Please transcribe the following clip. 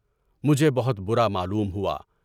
مجھے بہت برا معلوم ہوا۔